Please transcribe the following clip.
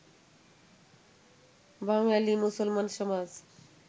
বাঙালী মুসলমান সমাজ